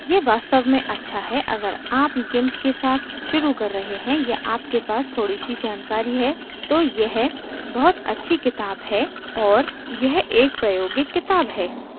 यह वास्तव में अच्छा है अगर आप gimp के साथ शुरू कर रहे हैं या आपके पास थोड़ी सी जानकारी है तो यह बहुत अच्छी किताब है और यह एक प्रायोगिक किताब है